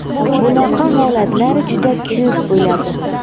Bunaqa holatlar juda ko‘p bo‘ladi.